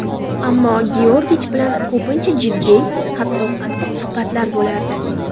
Ammo Georgich bilan ko‘pincha jiddiy, hatto qattiq suhbatlar bo‘lardi.